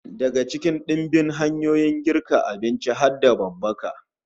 Daga cikin dimbin hanyoyin girka abinci har da babbaka